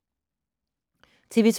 TV 2